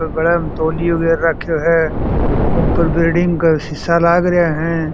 गले मे तौलिया गैर रखो है ऊपर बिलडिंग के सीसा लाग रहा है।